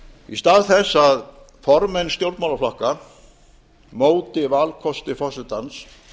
í stað þess að formenn stjórnmálaflokka móti valkosti forsetans